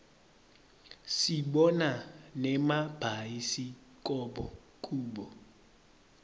sibona nemabhayisikobho kubo